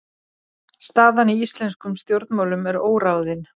Staðan í íslenskum stjórnmálum er óráðin